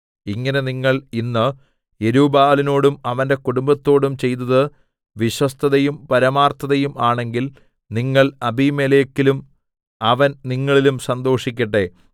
ഇങ്ങനെ നിങ്ങൾ ഇന്ന് യെരുബ്ബാലിനോടും അവന്റെ കുടുംബത്തോടും ചെയ്തത് വിശ്വസ്തതയും പരമാർത്ഥതയും ആണെങ്കിൽ നിങ്ങൾ അബീമേലെക്കിലും അവൻ നിങ്ങളിലും സന്തോഷിക്കട്ടെ